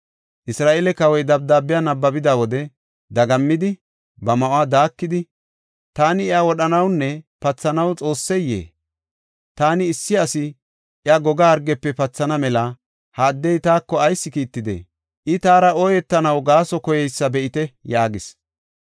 Isra7eele kawoy dabdaabiya nabbabida wode, ba ma7uwa daakidi, “Taani iya wodhanawunne pathanaw Xoosseyee? Taani issi asi iya goga hargefe pathana mela ha addey taako ayis kiittidee? I taara ooyetanaw gaaso koyeysa be7ite” yaagis.